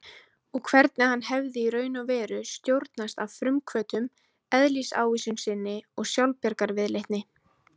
Og hvernig hann hefði í raun og veru stjórnast af frumhvötum, eðlisávísun sinni og sjálfsbjargarviðleitni.